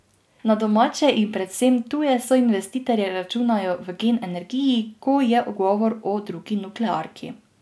Na domače in predvsem tuje soinvestitorje računajo v Gen energiji, ko je govor o drugi nuklearki.